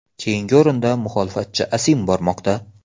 Keyingi o‘rinda muxolifatchi ASIM bormoqda.